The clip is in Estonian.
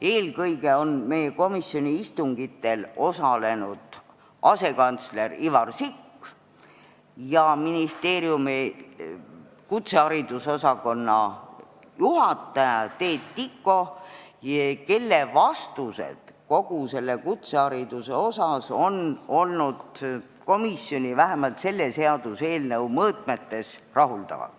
Eelkõige on meie komisjoni istungitel osalenud asekantsler Ivar Sikk ja ministeeriumi kutsehariduse osakonna juhataja Teet Tiko, kelle vastused kutsehariduse kohta on komisjoni rahuldanud, vähemalt selle seaduseelnõu mõõtmetes.